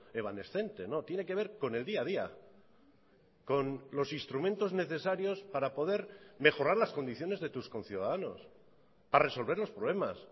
evanescente no tiene que ver con el día a día con los instrumentos necesarios para poder mejorar las condiciones de tus conciudadanos para resolver los problemas